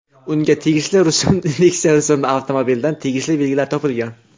Unga tegishli Nexia rusumli avtomobildan tegishli belgilar topilgan.